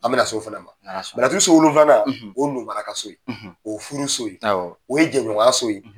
An bɛ na se o fana ma so wolonfilanan o ye ka so ye, o furu so ye, o ye jɛɲɔgɔnya so ye.